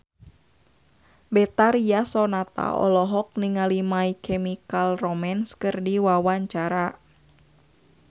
Betharia Sonata olohok ningali My Chemical Romance keur diwawancara